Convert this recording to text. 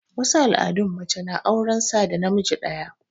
wasu al'adun mace na auran sa da namiji ɗaya